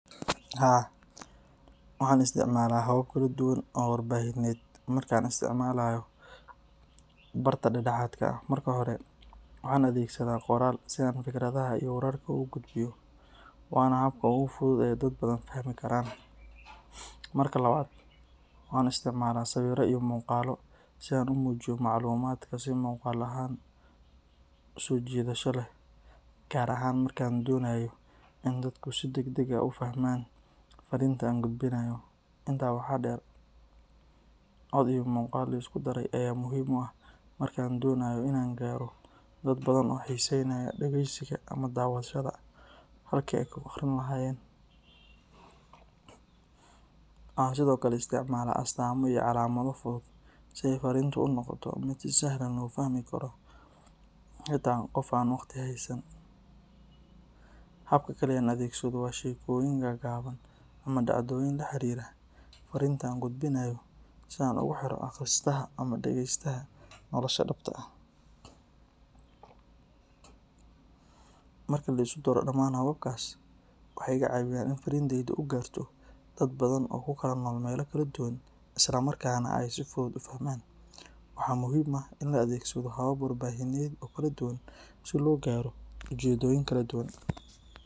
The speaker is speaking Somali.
Haa, waxaan isticmaalaa habab kala duwan oo warbaahineed marka aan isticmaalayo barta dhexdhexaadka ah. Marka hore, waxaan adeegsadaa qoraal si aan fikradaha iyo wararka u gudbiyo, waana habka ugu fudud ee dad badan fahmi karaan. Marka labaad, waxaan isticmaalaa sawirro iyo muuqaallo si aan u muujiyo macluumaadka si muuqaal ahaan u soo jiidasho leh, gaar ahaan marka aan doonayo in dadku si degdeg ah u fahmaan fariinta aan gudbinayo. Intaa waxaa dheer, cod iyo muuqaal la isku daray ayaa muhiim u ah marka aan doonayo in aan gaaro dad badan oo xiiseynaya dhageysiga ama daawashada halkii ay ka akhrin lahaayeen. Waxaan sidoo kale isticmaalaa astaamo iyo calaamado fudud si ay fariintu u noqoto mid si sahlan loo fahmi karo xitaa qof aan waqtiga haysan. Habka kale ee aan adeegsado waa sheekooyin gaagaaban ama dhacdooyin la xiriira fariinta aan gudbinayo si aan ugu xiro akhristaha ama dhagaystaha nolosha dhabta ah. Marka la isku daro dhammaan hababkaas, waxay iga caawiyaan in fariintaydu ay gaarto dad badan oo ku kala nool meelo kala duwan, isla markaana ay si fudud u fahmaan. Waxaa muhiim ah in la adeegsado habab warbaahineed oo kala duwan si loo gaaro ujeeddooyin kala duwan.